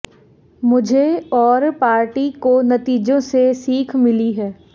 मुझे और पार्टी को नतीजों से सीख मिली है